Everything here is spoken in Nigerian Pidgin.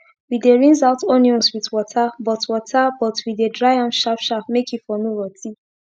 we dey rinse out onions wit water but water but we dey dry am sharp sharp make e for no rotty